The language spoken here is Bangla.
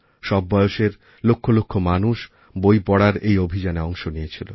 সব বয়সের লক্ষ লক্ষ মানুষ বই পড়ার এই অভিযানে অংশ নিয়েছিল